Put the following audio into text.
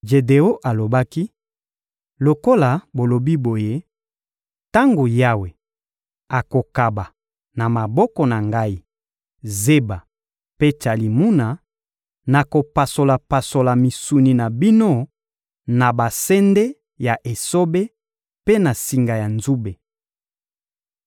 Jedeon alobaki: — Lokola bolobi boye, tango Yawe akokaba, na maboko na ngai, Zeba mpe Tsalimuna, nakopasola-pasola misuni na bino na basende ya esobe mpe na singa ya nzube.